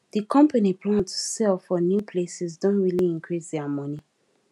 di company plan to sell for new places don really increase their money